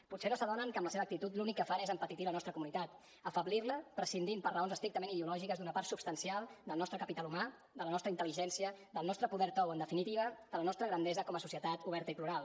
potser no s’adonen que amb la seva actitud l’únic que fan és empetitir la nostra comunitat afeblir la prescindint per raons estrictament ideològiques d’una part substancial del nostre capital humà de la nostra intel·ligència del nostre poder suau en definitiva de la nostra grandesa com a societat oberta i plural